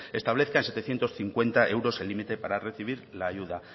establezca en setecientos cincuenta euros el límite para recibir la ayuda